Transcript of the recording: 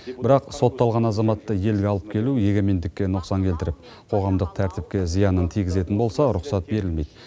бірақ сотталған азаматты елге алып келу егемендікке нұқсан келтіріп қоғамдық тәртіпке зиянын тигізетін болса рұқсат берілмейді